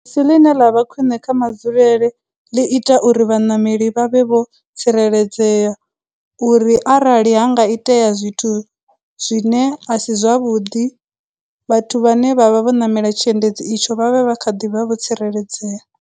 Si ḽine ḽa vha khwine kha madzulele ḽi ita uri vhaṋameli vha vhe vho tsireledzea uri arali ha nga itea zwithu zwine a si zwavhuḓi, vhathu vhane vhavha vho ṋamela tshiendedzi itsho vha vhe vha kha ḓivha vho tsireledzea.